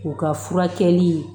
U ka furakɛli